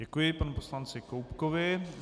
Děkuji panu poslanci Koubkovi.